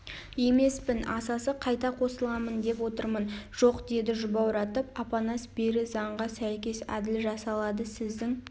емеспін асасы қайта қосыламын деп отырмын жоқ деді жұбауратып апанас бері заңға сәйкес әділ жасалады сіздің